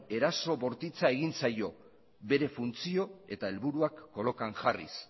eraso bortitza egin zaio bere funtzio eta helburuak kolokan jarriz